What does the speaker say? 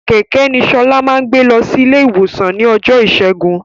Kẹ̀kẹ́ ni Ṣọlá máa gbé lọsí ilé ìwòsan ní ọjọ́ ìṣẹ́gun